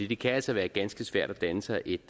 det kan altså være ganske svært at danne sig et